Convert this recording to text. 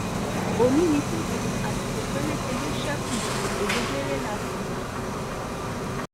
ó ní ní tòdodo àsìkò péréte ló ṣekú ọ̀gẹ́gẹ́rẹ́ la sì wá